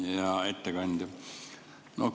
Hea ettekandja!